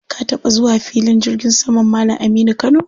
Ka taɓa zuwa filin jirgin saman Malam Aminu Kano?